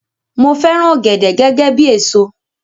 Mo fẹràn ògèdè gẹgẹ bíi èso